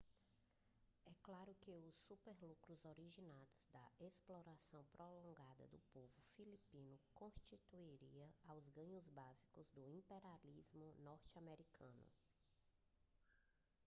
é claro que os superlucros originados da exploração prolongada do povo filipino constituiria os ganhos básicos do imperialismo norte-americano